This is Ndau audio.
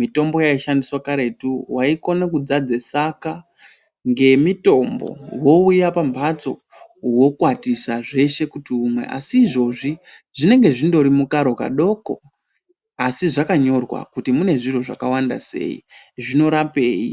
Mitombo yaishandiswa karetu waikone kudzadze saka ngemitombo wouye pamhatso wokwatisa zveshe kuti umwe asi izvozvi zvinenge zvindori mukaro kadoko asi zvakanyorwa kuti mune zviro zvakawanda sei, zvinorapei.